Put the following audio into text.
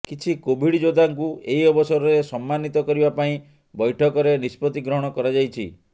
କିଛି କୋଭିଡ଼ ଯୋଦ୍ଧାଙ୍କୁ ଏହି ଅବସରରେ ସମ୍ମାନିତ କରିବା ପାଇଁ ବୈଠକରେ ନିଷ୍ପତି ଗ୍ରହଣ କରାଯାଇଛି